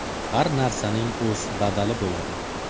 Har narsaning o‘z badali bo‘ladi.